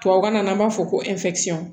Tubabu kan na an b'a fɔ ko